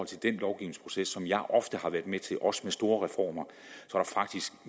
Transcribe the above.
til de lovgivningsprocesser som jeg ofte har været med til også med store reformer